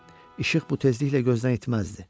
İşıq bu tezliklə gözdən itməzdi.